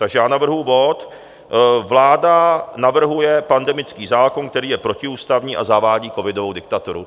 Takže já navrhuji bod Vláda navrhuje pandemický zákon, který je protiústavní, a zavádí covidovou diktaturu.